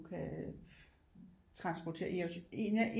Kan transportere en af